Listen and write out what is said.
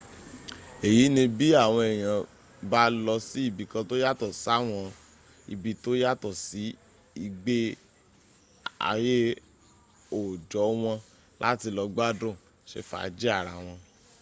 èyí ni bí àwọn èèyàn bá lọ sí ibìkan tó yàtọ̀ sáwọn ibi tó yàtọ̀ sí ìgbé aué òòjọ́ wọn láti lọ gbádùn se fàájì ara wọn